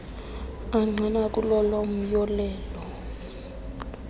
angqina kulolo myolelo